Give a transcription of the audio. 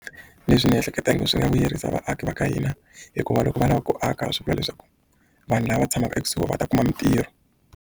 Leswi ni ehleketa i ngi swi nga vuyerisa vaaki va ka hina hikuva loko va lavaka ku aka swi vula leswaku vanhu lava tshamaka ekusuhi va ta kuma mitirho.